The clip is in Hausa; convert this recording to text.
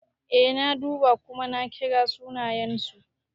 Eh na duba kuma na kira sunayensu.